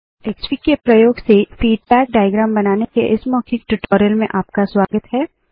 Xfig के प्रयोग से फीडबैक डाइअग्रैम बनाने के इस मौखिक ट्यूटोरियल में आपका स्वागत है